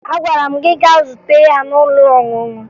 Agwara m gị gaa zute ya n'ụlọ ọṅụṅụ!